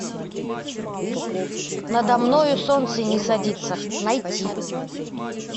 надо мною солнце не садится найти